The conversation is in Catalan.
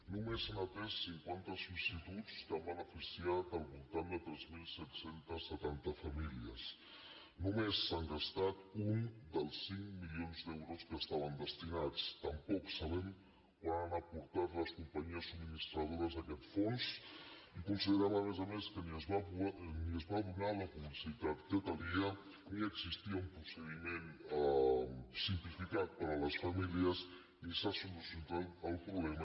només s’han atès cinquanta sol·licituds que han beneficiat al voltant de tres mil set cents i setanta famílies només s’han gastat un dels cinc milions d’euros que hi estaven destinats tampoc sabem quant han aportat les companyies subministradores a aquest fons i considerem a més a més que ni es va donar la publicitat que calia ni existia un procediment simplificat per a les famílies ni s’ha solucionat el problema